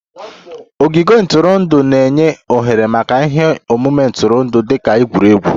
Ogige ntụrụndụ na-enye ohere maka ihe omume ntụrụndụ dị ka egwuregwu